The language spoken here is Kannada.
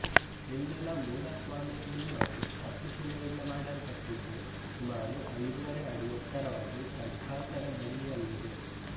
ಇಲ್ಲಿನ ಮೂಲ ಸ್ವಾಮಿಯ ಬಿಂಬವು ಕಪ್ಪು ಶಿಲೆಯಿಂದ ಮಾಡಲ್ಪಟ್ಟಿದ್ದು ಸುಮಾರು ಐದುವರೆ ಅಡಿ ಎತ್ತರವಾಗಿ ಖಡ್ಗಾಸನ ಭಂಗಿಯಲ್ಲಿದೆ